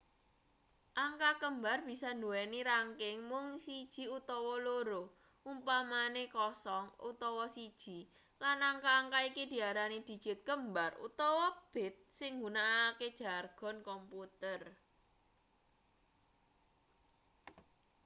angka kembar bisa nduweni rangking mung siji utawa loro umpamane 0 utawa 1 lan angka-angka iki diarani dijit kembar utawa bit sing nggunakake jargon komputer